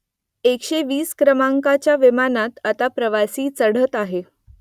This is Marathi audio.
एकशे वीस क्रमांकाच्या विमानात आता प्रवासी चढत आहे